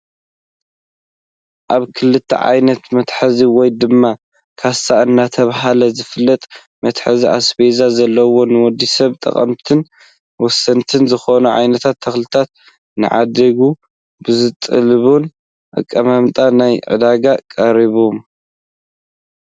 ኣብ ክልተ ዓይነት መትሓዚ ወይ ድማ ካሳ እናተባህለ ዝፍለጥ መትሓዚ ኣስቤዛ ዘለዉ ንወዲሰብ ጠቀምትን ወሰንትን ዝኾኑ ዓይነት ተክልታት ንዓዳጊ ብዝጠልብ ኣቀማምጣ ናብ ዕዳጋ ቀሪቦም፡፡